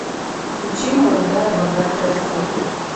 включи молодая богатая сука